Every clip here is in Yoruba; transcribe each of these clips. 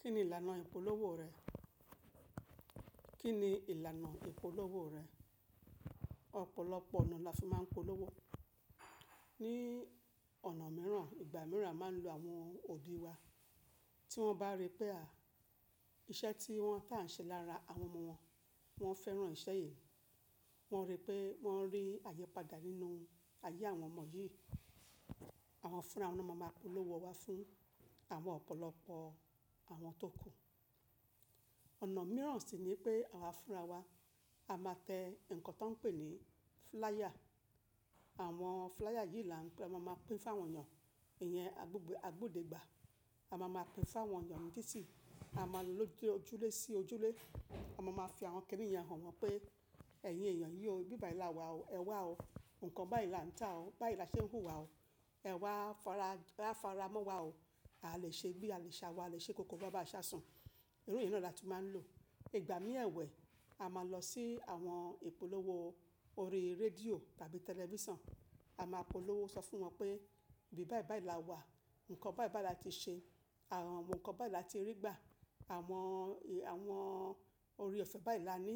Kí ni ìlànà ìpolówó rẹ? Kí ni ìlànà ìpolówó rẹ? Ọ̀pọ̀lọpọ̀ ọ̀nà la fi máa ń polówó. Ni ọ̀nà mìíràn, ìgbà mìíràn a máa lo àwọn òdì wa. Tí wọ́n bá rí pé à, iṣẹ́ tí wọ́n tà ń ṣe lára àwọn ọmọ wọn, wọ́n fẹ́ràn iṣẹ́ yẹn. Wọ́n rí pé wọ́n rí àyípadà nínú ayé àwọn ọmọ yìí. Àwọn fúnra wọn ni a máa polówó wa fún àwọn ọ̀pọ̀lọpọ̀ àwọn tó kù. Ọ̀nà mìíràn sì ni pé àwa fúnra wa, a máa tẹ nǹkan tó ń pè ní flyer. Àwọn flyer yìí la ń pe, a máa pín fún àwọn èèyàn. Ìyẹn agbóde, agbóde gbà. A máa ma pín fún àwọn èèyàn ní títì. A máa lọ ojúlé sí ojúlé. A máa ma fi àwọn kini yẹn hàn wọ́n pé ẹ̀yin èèyàn yii o bí bá là wa o. Ẹ wá o. Nǹkan báyìí là ń tà o. Báyìí là ṣe ń hù wa o. Ẹ wá fará, ráfara mọ́ wa o. Alè ṣe bí ale sawo, alè ṣe ikókó bá bàá ṣá sùn. Iru yìí náà la tún máa ń lò. Ìgbà mí ẹ̀wẹ̀, a máa lọ sí àwọn ìpolówó orí rédíò tàbí tẹlifíṣàn. A máa polówó sọ fún wọn pé ibí bái bai ìlà wa, nǹkan bái bai là ti ṣe, àwọn nǹkan bá lì làti rí gbà, àwọn, àwọn ore ọ̀fẹ́ bái laani,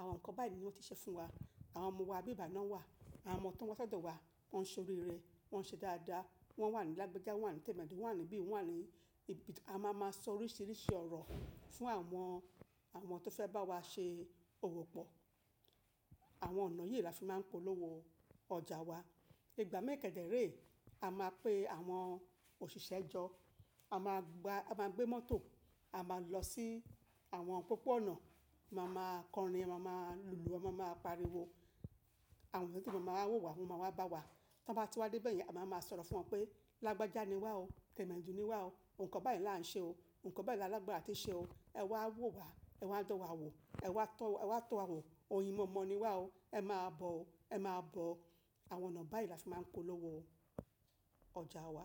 àwọn nǹkan bái ni wọ́n ti ṣe fún wa. Àwọn ọmọ wa ibí bái náà wà. Àwọn ọmọ tó ń wa si dọ̀ wa, wọ́n ṣọ oríre wọ́n ṣe dáadáa, wọ́n wà ní lágbájá, wọ́n wà ní tẹ̀medo, wọ́n wà níbí, wọ́n wà ní ibi. A máa ma sọ oríṣìíríṣìí ọ̀rọ̀ fún àwọn, àwọn tó fẹ́ bá wa ṣe òwò pọ̀. Àwọn ọ̀nà yìí la fi máa ń polówó ọjà wa. Ìgbà mi kederee, a máa pe àwọn òṣìṣẹ́ jọ́. A máa gba, a máa gbé mọ́tò, a máa lọ sí àwọn pópó-ọ̀nà. A máa ma kọrin, a máa ma lùlù, a máa ma pariwo. Àwọn tó máa ma wò wa wọ́n máa wá bá wa. Tan bá ti wá dé be yen, a máa ma sọ̀rọ̀ fún wọn pé lágbájá ni wá o, tẹ̀medo ni wá o, nǹkan bá yi la ń ṣe o, nǹkan báyini alagbara à ti ṣe o. Ẹ wá wò wa, ẹ wá dan wa wò, ẹ wá tọ̀ e wá tọ̀ wa wò, oyin mọ̀mọ́ ni wá o, ẹ máa bọ̀ o, ẹ máa bọ̀ o. Àwọn ọ̀nà bá ìlà fi máa ń polówó ọjà wa.